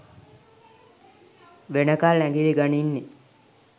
වෙනකල් ඇඟිලි ගනින්නේ.